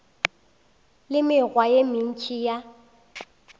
le mekgwa ye mentši ya